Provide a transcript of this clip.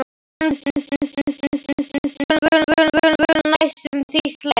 Hönd hans var mjúk en þvöl, næstum því sleip.